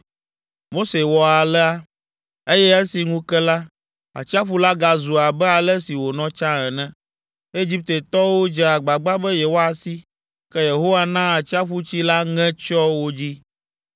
Mose wɔ alea, eye esi ŋu ke la, atsiaƒu la gazu abe ale si wònɔ tsã ene. Egiptetɔwo dze agbagba be yewoasi, ke Yehowa na atsiaƒutsi la ŋe tsyɔ wo dzi.